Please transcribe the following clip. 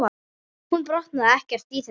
Hún botnaði ekkert í þessu.